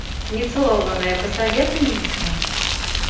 нецелованная посоветуй мне